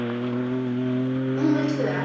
númer tvö.